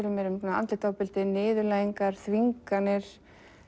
andlegt ofbeldi niðurlægingar þvinganir